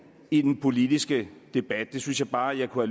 i den politiske debat det synes jeg bare jeg kunne